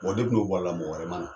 Bon de tun' b bɔra la mɔgɔ wɛrɛ mana na